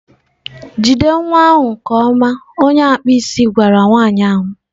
Jide nwa ahụ! nke ọma onye akpụ isi gwara nwanyị ahụ.